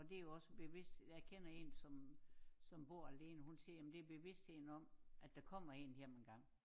Og det jo også bevidst jeg kender en som som bor alene hun siger jamen det bevidstheden om at der kommer en hjem engang